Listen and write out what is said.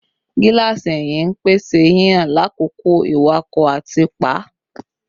Gilasi ẹhin n pese hihan lakoko iwakọ ati pa